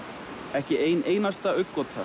ekki ein einasta